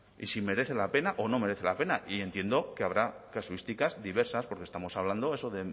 y si merece la pena o no merece la pena y entiendo que habrá casuísticas diversas porque estamos hablando eso